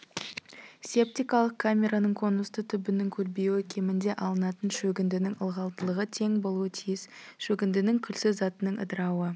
септикалық камераның конусты түбінің көлбеуі кемінде алынатын шөгіндінің ылғалдылығы тең болуы тиіс шөгіндінің күлсіз затының ыдырауы